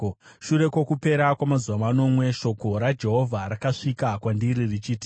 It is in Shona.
Shure kwokupera kwamazuva manomwe, shoko raJehovha rakasvika kwandiri richiti,